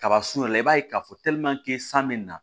Kaba surun yɛrɛ i b'a ye k'a fɔ san bɛ na